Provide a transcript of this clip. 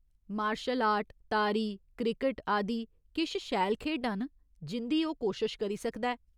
Martial art, तारी, cricket आदि किश शैल खेढां न जिं'दी ओह् कोशश करी सकदा ऐ।